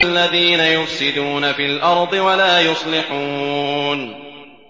الَّذِينَ يُفْسِدُونَ فِي الْأَرْضِ وَلَا يُصْلِحُونَ